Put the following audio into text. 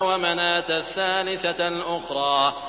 وَمَنَاةَ الثَّالِثَةَ الْأُخْرَىٰ